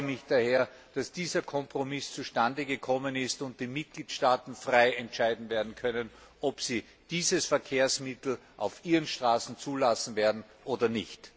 Ich freue mich daher, dass dieser Kompromiss zustandegekommen ist und die Mitgliedstaaten frei entscheiden können, ob sie dieses Verkehrsmittel auf ihren Straßen zulassen werden oder nicht.